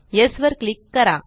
yes वर click करा